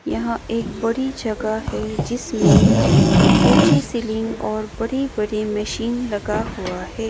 यह एक बड़ी जगह है जिसमें ऊंची सीलिंग और बड़ी बड़ी मशीन लगा हुआ है।